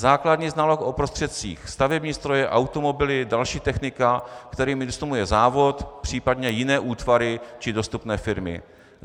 Základní znalost o prostředcích, stavební stroje, automobily, další technika, kterými disponuje závod, případně jiné útvary či dostupné firmy.